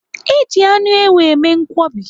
Eji anụ ewu eme nkwobi.